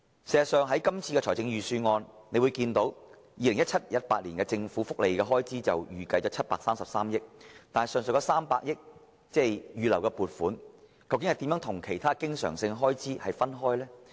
事實上，在今年的預算案中，大家看到在 2017-2018 年度，政府預計的福利開支是733億元，但當中預留的300億元撥款如何有別於其他經常性開支？